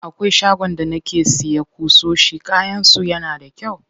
Akwai shagon da nake siya ƙusoshi, kayan su yana da kyau.